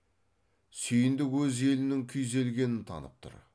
сүйіндік өз елінің күйзелгенін танып тұр